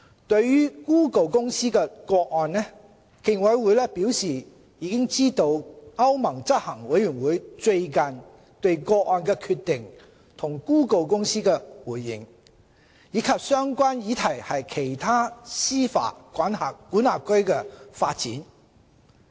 對於谷歌公司的個案，競委會表示知悉歐盟執行委員會最近對個案的決定及谷歌公司的回應，以及相關議題在其他司法管轄區的發展。